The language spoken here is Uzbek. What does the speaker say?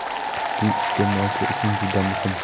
Bu iste’molchi uchun juda muhim.